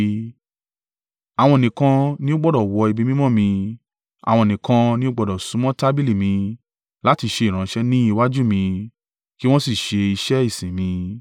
Àwọn nìkan ni ó gbọdọ̀ wọ ibi mímọ́ mi; àwọn nìkan ní o gbọdọ̀ súnmọ́ tábìlì mi láti ṣe ìránṣẹ́ ni iwájú mi, ki wọn sì ṣe iṣẹ́ ìsìn mi.